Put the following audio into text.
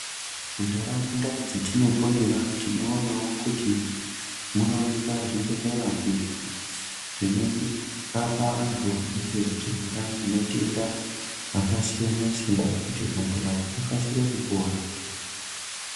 Muntaraunda dzatinoponera, tinowonawo kuti munowanikwa zvibhedlera izvo zvinorapa antu anenge achirwara ngematenda akasiyana siyana kuti antu aya akasikire kupora.